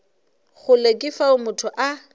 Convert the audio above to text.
kgole ke fao motho a